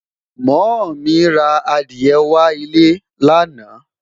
moo mí ra Adiye wà ilé lana